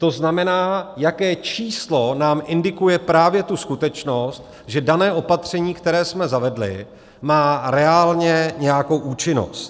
To znamená, jaké číslo nám indikuje právě tu skutečnost, že dané opatření, které jsme zavedli, má reálně nějakou účinnost.